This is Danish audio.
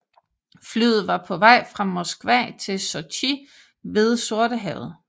Flyet fra på vej fra Moskva til Sochi ved Sortehavet